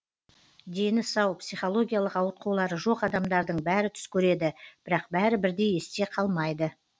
дені сау психологиялық ауытқулары жоқ адамдардың бәрі түс көреді бірақ бәрі бірдей есте қалмайды